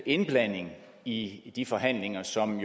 indblanding i de forhandlinger som